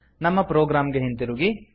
ನಮ್ಮ ಪ್ರೊಗ್ರಾಮ್ ಗೆ ಹಿಂತಿರುಗಿ